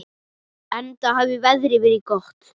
Enda hafi veðrið verið gott.